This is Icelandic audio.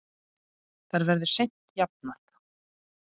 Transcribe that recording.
Það verður seint jafnað.